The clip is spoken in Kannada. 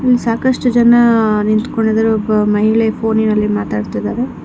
ಇಲ್ ಸಾಕಷ್ಟು ಜನ ನಿಂತ್ಕೊಂಡಿದ್ದಾರೆ ಒಬ್ಬ ಮಹಿಳೆ ಫೋನಿನಲ್ಲಿ ಮಾತನಾಡುತ್ತಿದ್ದಾರೆ.